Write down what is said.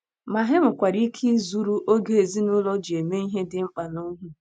Ma, ha nwekwara ike izuru oge ezinụlọ ji eme ihe dị mkpa n’ohi.